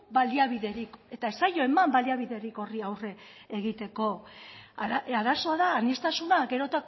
baliabiderik eta ez zaio eman baliabiderik horri aurre egiteko arazoa da aniztasuna gero